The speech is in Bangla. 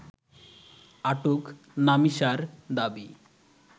আটক নামিসার দাবি